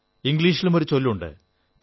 ഇംഗ്ളീഷിലും ഒരു ചൊല്ലുണ്ട്